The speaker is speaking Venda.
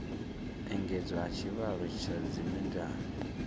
engedzwa ha tshivhalo tsha dzimedala